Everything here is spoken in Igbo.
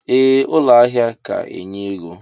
Ee ụlọ ahia ka enye ego.